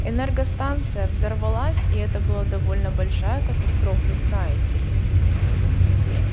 энергостанция взорвалась и это была довольно большая катастрофа знаете ли